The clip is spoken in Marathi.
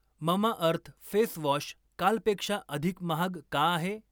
ममाअर्थ फेस वॉश कालपेक्षा अधिक महाग का आहे?